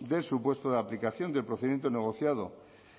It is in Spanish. del supuesto de aplicación del procedimiento negociado